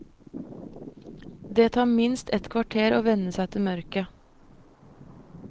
Det tar minst et kvarter å venne seg til mørket.